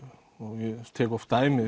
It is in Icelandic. og ég tek oft dæmi